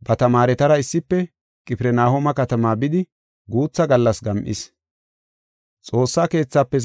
ba tamaaretara issife Qifirnahooma katamaa bidi guutha gallas gam7is.